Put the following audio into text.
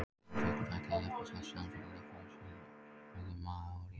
Móafuglum fækkaði jafnt og þétt samfara miklum veiðum maóría.